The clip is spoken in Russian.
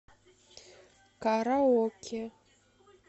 караоке